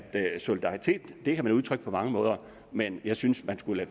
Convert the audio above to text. solidaritet kan man udtrykke på mange måder men jeg synes at man skulle